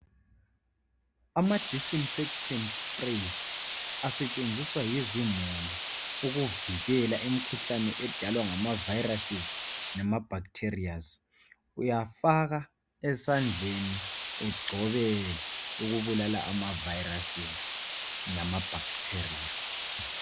Amadisinfethedi sprays asebenziswa zimuli ukuvikela imikhuhlane edalwa ngama bacteria lama virus .uyafaka esandleni ugcobe ukubulala ama virus lama bacteria